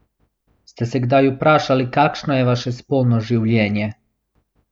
Ste se kdaj vprašali, kakšno je vaše spolno življenje?